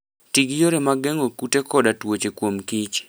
Ti gi yore mag geng'o kute koda tuoche kuom kich